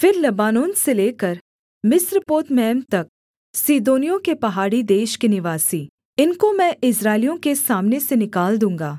फिर लबानोन से लेकर मिस्रपोतमैम तक सीदोनियों के पहाड़ी देश के निवासी इनको मैं इस्राएलियों के सामने से निकाल दूँगा